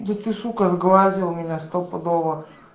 вот ты сука сглазил меня стопудово